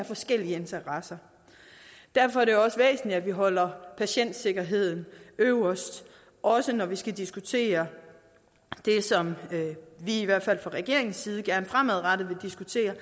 forskellige interesser derfor er det også væsentligt at vi holder patientsikkerheden øverst også når vi skal diskutere det som vi i hvert fald fra regeringens side gerne fremadrettet vil diskutere